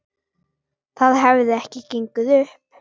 Það hefði ekki gengið upp.